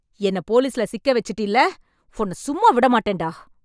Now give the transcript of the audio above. என்னை போலிஸ்கிட்ட சிக்கவெச்சுட்டீல்ல... உன்ன சும்மா விடமாட்டேன்டா.